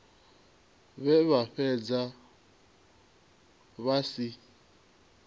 vhe vha fhedza vha si